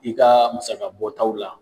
I ka musaka bɔtaw la